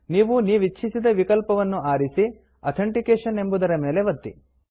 ನೀವು ನೀವಿಚ್ಛಿಸಿದ ವಿಕಲ್ಪವನ್ನು ಆರಿಸಿ ಅಥೆಂಟಿಕೇಶನ್ ಅಥೆಂಟಿಕೇಶನ್ ಎಂಬುದರ ಮೇಲೆ ಒತ್ತಿ